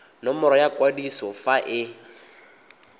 nomoro ya kwadiso fa e